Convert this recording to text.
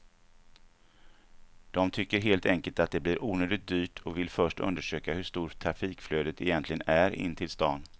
De tycker helt enkelt att det blir onödigt dyrt och vill först undersöka hur stort trafikflödet egentligen är in till stan.